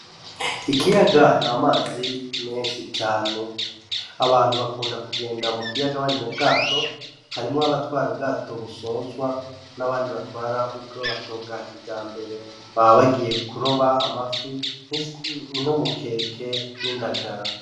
Ikiyaga n'amazi menshi cane , abantu bakunda kugenda mukiyaga bari mubwato harimwo abatwara ubwato busozwa n'abandi batwara ubwato bwakijambere baba bagiye kuroba amafi nk'umukeke n'indagara.